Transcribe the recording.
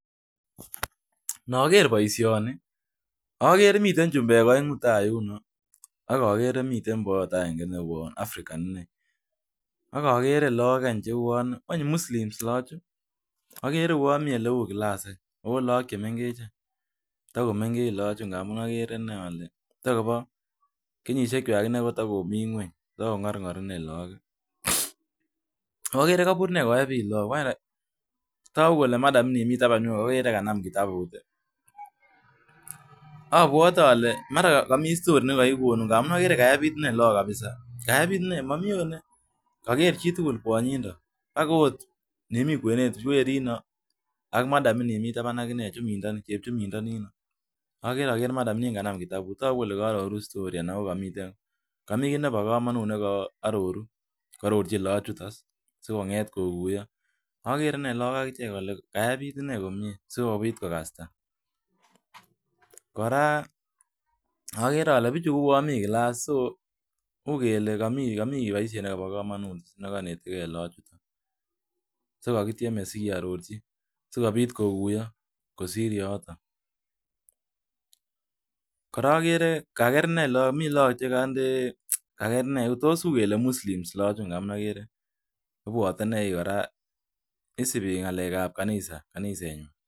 Noger boishoni agere miten chumbek oengu tayuno akogere miten boyot agengei neuwen African akogere Lok cheuwon magere kouwonmiten kit neu classako lagok chemengech